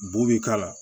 Bu bi k'a la